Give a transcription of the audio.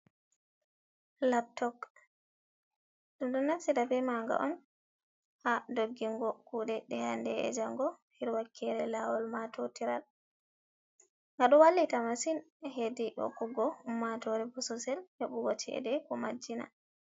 Laptok. Ɗum ɗo naftira be ma nga on ha doggingo kuɗe ɗe hande e jango, her wakere lawol matotiral. Ngaɗo wallita masin hedi hokkugo ummatore bososel heɓugo chede ko majjina.